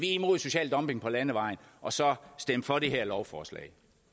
er imod social dumping på landevejen og så stemme for det her lovforslag